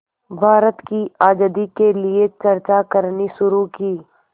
भारत की आज़ादी के लिए चर्चा करनी शुरू की